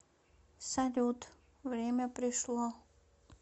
салют время пришло